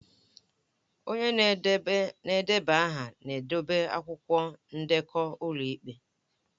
Onye na-edeba aha na-edobe akwụkwọ ndekọ ụlọ ikpe